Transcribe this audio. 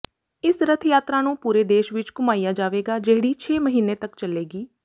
ਇਸ ਰੱਥ ਯਾਤਰਾ ਨੂੰ ਪੂਰੇ ਦੇਸ਼ ਵਿੱਚ ਘੁਮਾਇਆ ਜਾਵੇਗਾ ਜਿਹੜੀ ਛੇ ਮਹੀਨੇ ਤੱਕ ਚੱਲੇਗੀ